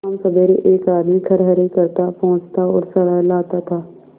शामसबेरे एक आदमी खरहरे करता पोंछता और सहलाता था